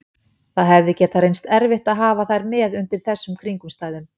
Það hefði getað reynst erfitt að hafa þær með undir þessum kringumstæðum.